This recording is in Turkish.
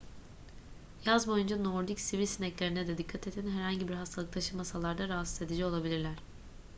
yaz boyunca nordik sivri sineklerine de dikkat edin herhangi bir hastalık taşımasalar da rahatsız edici olabilirler